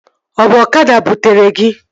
Ọ bụ ọkada butere gị?